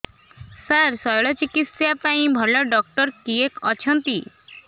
ସାର ଶଲ୍ୟଚିକିତ୍ସା ପାଇଁ ଭଲ ଡକ୍ଟର କିଏ ଅଛନ୍ତି